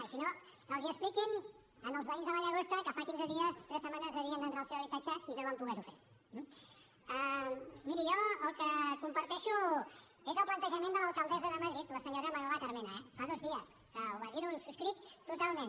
i si no els ho expliquin als veïns de la llagosta que fa quinze dies tres setmanes havien d’entrar al seu habitatge i no van poder ho fer eh miri jo el que comparteixo és el plantejament de l’alcaldessa de madrid la senyora manuela carmena eh fa dos dies que va dir ho i ho subscric totalment